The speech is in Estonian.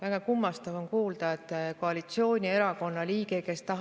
Väga kummastav on kuulda, et koalitsioonierakonna liige räägib inimlikkusest.